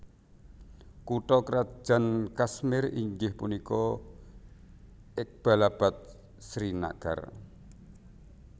Kutha krajan Kashmir inggih punika Iqbalabad Srinagar